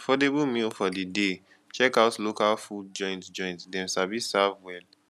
affordable meal for the day check out local food joint joint them sabi serve well